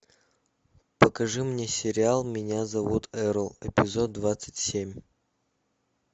покажи мне сериал меня зовут эрл эпизод двадцать семь